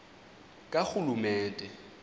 karhulumente